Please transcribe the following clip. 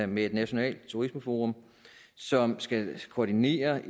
med et nationalt turismeforum som skal koordinere